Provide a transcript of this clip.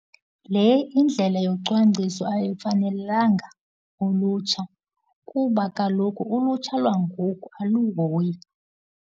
Le indlela yocwangciso ayifanelanga ulutsha kuba kaloku ulutsha lwangoku aluhoyi.